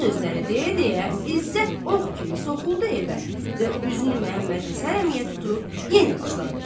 Bu sözləri deyə-deyə İzzət ox kimi soxuldu evə və üzünü Məmmədhəsən əmiyə tutub yenə başladı.